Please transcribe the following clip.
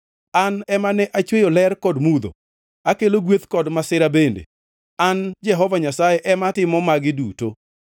An ema ne achweyo ler kod mudho, akelo gweth kod masira bende; An, Jehova Nyasaye ema timo magi duto.